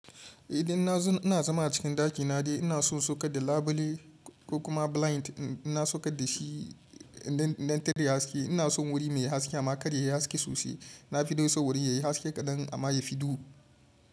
Idan na- ina zama a cikin ɗakina dai ina son in saukar da labule ko kuma blind ɗin, in na saukar dashi ina son wuri mai haske amma karya yayi haske sosai. Na fi dai son wuri yayi haske kaɗan amma yafi duhu.